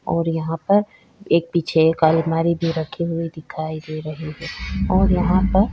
और यहाँ पर एक पीछे एक अलमारी भी रखी हुई दिखाई दे रही है और यहाँ पर--